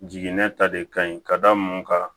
Jiginɛ ta de ka ɲi ka da mun kan